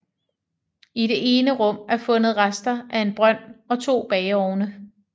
I det ene rum er fundet rester af en brønd og to bageovne